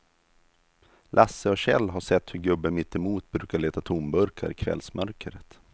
Lasse och Kjell har sett hur gubben mittemot brukar leta tomburkar i kvällsmörkret.